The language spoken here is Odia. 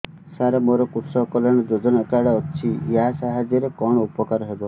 ସାର ମୋର କୃଷକ କଲ୍ୟାଣ ଯୋଜନା କାର୍ଡ ଅଛି ୟା ସାହାଯ୍ୟ ରେ କଣ ଉପକାର ହେବ